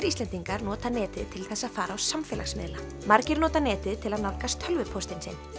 Íslendingar nota netið til þess að fara á samfélagsmiðla margir nota netið til að nálgast tölvupóstinn sinn